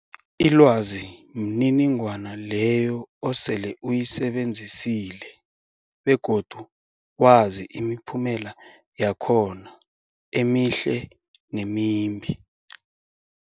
Ilwazi mniningwana leyo osele uyisebenzisile begodu wazi imiphumela yakhona emihle nemimbi.